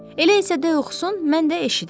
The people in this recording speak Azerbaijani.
Elə isə de oxusun, mən də eşidim.